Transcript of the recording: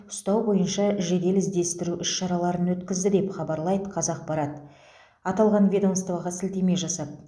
ұстау бойынша жедел іздестіру іс шараларын өткізді деп хабарлайды қазақпарат аталған ведомствоға сілтеме жасап